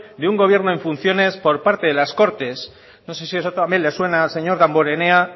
de un gobierno en funciones por parte de las cortes no sé si eso también le suena al señor damborenea